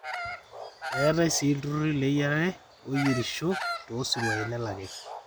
eetai sii iltururri leyiarare ooyierisho toosiruai nelaki